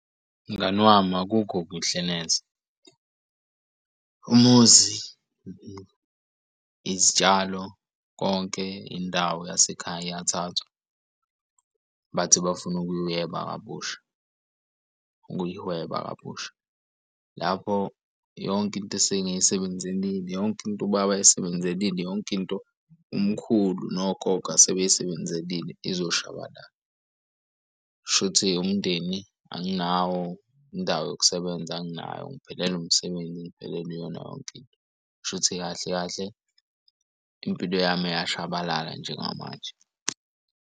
Mngani wami akukho kuhle neze umuzi izitshalo konke indawo yasekhaya iyathathwa. Bathi bafune ukuyeba kabusha, ukuyihweba kabusha. Lapho yonke into esengizisebenzelile yonke into ubaba ayisebenzelile yonke into umkhulu nogogo asebey'sebenzelile izoshabalala. Shuthi umndeni anginawo indawo yokusebenza anginayo ngiphelelwe umsebenzi engiphelelwe iyona yonke into kushuthi kahle kahle impilo yami iyashabalala njengamanje.